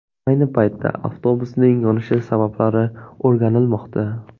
Ayni paytda avtobusning yonishi sabablari o‘rganilmoqda.